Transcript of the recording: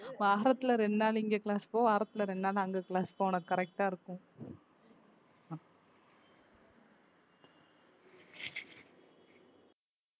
வாரத்துல ரெண்டு நாள் இங்க class போ வாரத்துல ரெண்டு நாள் அங்க class போ உனக்கு correct ஆ இருக்கும்